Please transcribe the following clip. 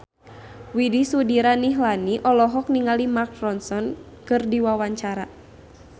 Widy Soediro Nichlany olohok ningali Mark Ronson keur diwawancara